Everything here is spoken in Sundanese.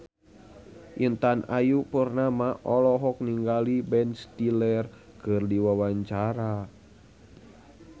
Intan Ayu Purnama olohok ningali Ben Stiller keur diwawancara